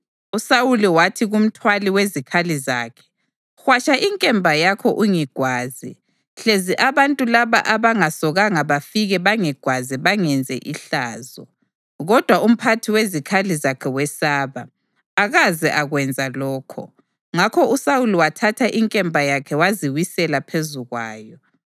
USawuli wathi kumthwali wezikhali zakhe, “Hwatsha inkemba yakho ungigwaze, hlezi abantu laba abangasokanga bafike bangigwaze bangenze ihlazo.” Kodwa umphathi wezikhali zakhe wesaba, akaze akwenza lokho, ngakho uSawuli wathatha inkemba yakhe waziwisela phezu kwayo.